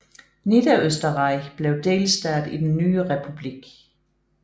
Niederösterreich blev delstat i den nye republik